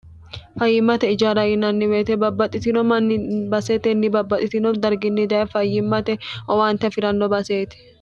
fayyimmate ijarayinanni weyite babbaxxitino manni basetenni babbaxxitino darginni daye fayyimmate owaante afiranno baseete